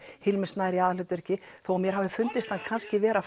Hilmir Snær í aðalhlutverki þó mér hafi fundist hann kannski vera